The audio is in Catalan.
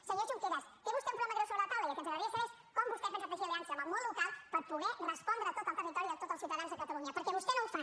senyor junqueras té vostè un problema greu sobre la taula i el que ens agradaria saber és com vostè pensa teixir aliances amb el món local per poder respondre a tot el territori i a tots els ciutadans de catalunya perquè vostè no ho fa